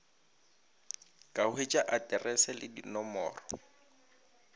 ka hwetša aterese le dinomoro